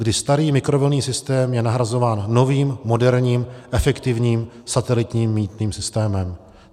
Kdy starý mikrovlnný systém je nahrazován novým, moderním efektivním satelitním mýtným systémem.